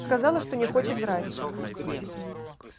сказала что не хочет врать